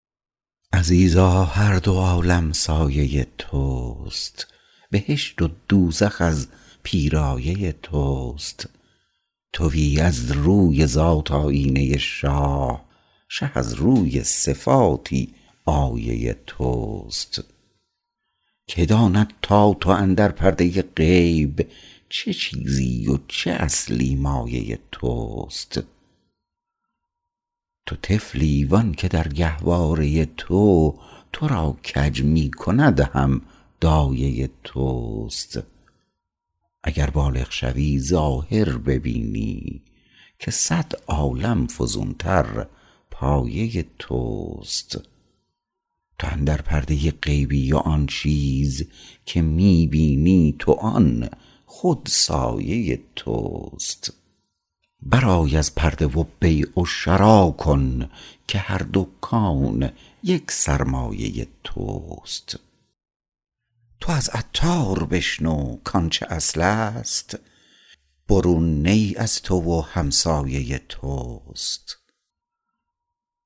عزیزا هر دو عالم سایه توست بهشت و دوزخ از پیرایه توست تویی از روی ذات آیینه شاه شه از روی صفاتی آیه توست که داند تا تو اندر پرده غیب چه چیزی و چه اصلی مایه توست تو طفلی وانکه در گهواره تو تو را کج می کند هم دایه توست اگر بالغ شوی ظاهر ببینی که صد عالم فزون تر پایه توست تو اندر پرده غیبی و آن چیز که می بینی تو آن خود سایه توست برآی از پرده و بیع و شرا کن که هر دو کون یک سرمایه توست تو از عطار بشنو کانچه اصل است برون نی از تو و همسایه توست